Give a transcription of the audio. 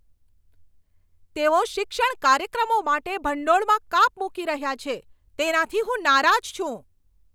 તેઓ શિક્ષણ કાર્યક્રમો માટે ભંડોળમાં કાપ મૂકી રહ્યા છે તેનાથી હું નારાજ છું.